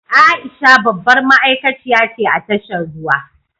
Aisha babbar ma’aikaciya ce a tashar ruwa.